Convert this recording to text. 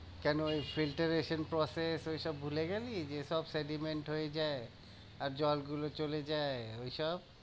কেন ওই filter acent process ওইসব ভুলে গেলি? যে সব sediment হয়ে যায় আর জলগুলো চলে যায়, ওইসব?